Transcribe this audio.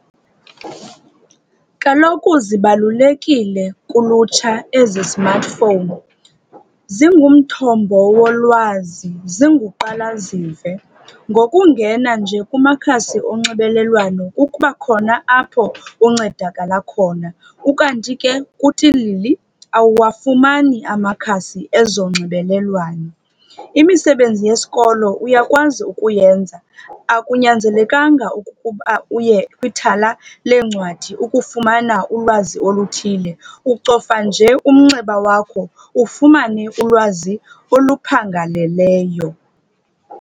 Kaloku zibalulekileyo kulutsha ezi smartphone, zingumthombo wolwazi, zinguqalazive. Ngokungena nje kumakhasi onxibelelwano kuba khona apho uncedakala khona. Ukanti ke, kutilili awuwafumani amakhasi ezonxibelelwano. Imisebenzi yesikolo uyakwazi ukuyenza, akunyanzelekanga ukuba uye kwithala leencwadi ukufumana ulwazi oluthile. Ucofa nje umnxeba wakho ufumane ulwazi oluphangaleleyo.